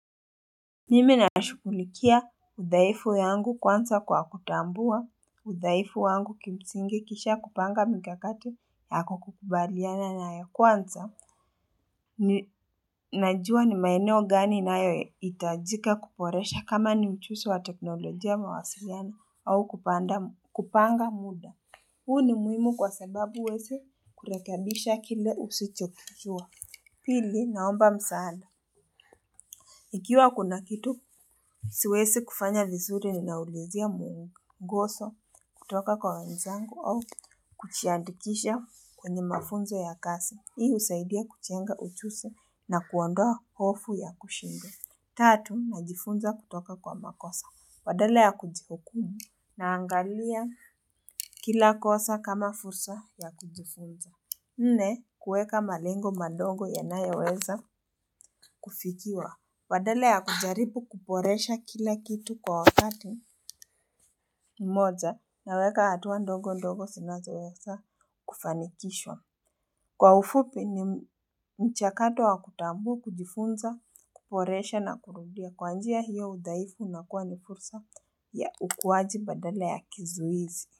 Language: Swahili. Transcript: Mimi na nashugulikia uthaifu yangu kwansa kwa kutambua uthaifu wangu kimsingi kisha kupanga mkakati yako kukubaliana na ya kwansa najua ni maeneo gani nayohitajika kuboresha kama ni ujusi wa teknolojia mawasiliano au kupanda kupanga mda huu ni muhimu kwa sababu huwesi kurekebisha kile usichokijua. Pili naomba msaada. Ikiwa kuna kitu, siwesi kufanya vizuri ni naulizia mu, ngoso, kutoka kwa wenzangu au kujiandikisha kwenye mafunzo ya kasi. Hii usaidia kuchenga uchusi na kuondoa hofu ya kushindwa. Tatu, najifunza kutoka kwa makosa. Badala ya kujihukumu na angalia kila kosa kama fursa ya kujifunza. Nne, kuweka malengo madogo ya nayoweza kufikiwa. Badala ya kujaribu kuporesha kila kitu kwa wakati mmoja naweka hatua ndogo ndogo sinazo wesa kufanikishwa. Kwa ufupi ni mchakato wa kutambu, kujifunza, kuporesha na kurudia kwanjia hiyo udhaifu unakua ni fursa ya ukuwaji badala ya kizuizi.